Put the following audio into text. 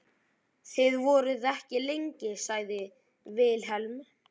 Þið voruð ekki lengi, sagði Vilhelm.